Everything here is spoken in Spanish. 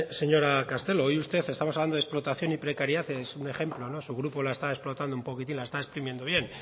señora castelo hoy usted estamos hablando de explotación y precariedad es un ejemplo su grupo la está explotando un poquitín la está exprimiendo bien